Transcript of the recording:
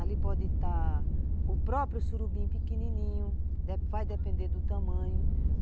Ali pode estar o próprio surubim pequenininho, vai depender do tamanho.